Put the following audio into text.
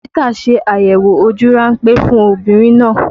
Dókítà ṣe àyẹ̀wò ojú ránpẹ́ fún obìnrin náà